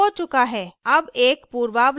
अब एक पूर्वावलोकन पर नजर डालते हैं